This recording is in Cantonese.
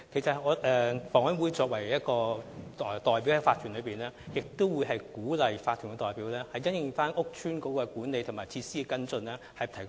房委會作為法團的代表之一，亦會提供意見，鼓勵法團因應租置屋邨的管理及設施作出跟進。